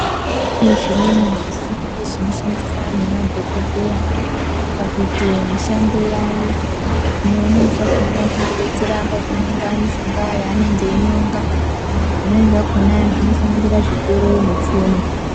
Pane zvimweni zvisimbi zvinoshandiswa ngemadhokodheya pakuite mishando yavo zvino zvimweni zvakona zvinodetsera pakunonga mushonga yavanenge veinonga zvimweni zvakona zvinosanganisira zvigero netsono.